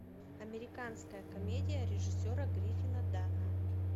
американская комедия режиссера гриффина данна